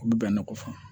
U bɛ bɛnnen kɔfɛ